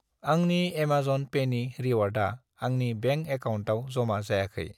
आंनि एमाजन पेनि रिवार्डा आंनि बेंक एकाउन्टआव ज'मा जायाखै।